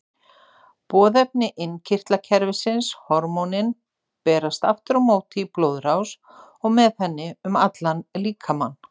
Boðefni innkirtlakerfisins, hormónin, berast aftur á móti í blóðrás og með henni um allan líkamann.